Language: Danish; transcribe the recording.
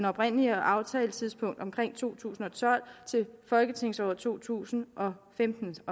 oprindelige aftaletidspunkt omkring to tusind og tolv til folketingsåret to tusind og femten til